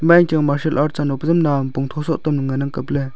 achang nga shalout cheno pejam nao pongyho soh ley ley ngan ang kapley tailey.